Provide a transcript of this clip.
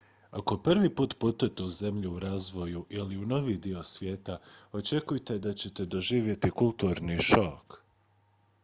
ako prvi put putujete u zenlju u razvoju ili u novi dio svijeta očekujte da ćete doživjeti kulturni šok